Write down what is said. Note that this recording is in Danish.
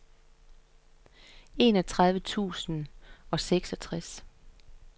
enogtredive tusind og seksogtres